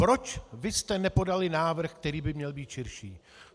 Proč vy jste nepodali návrh, který by měl být širší?